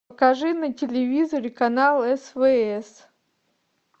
покажи на телевизоре канал свс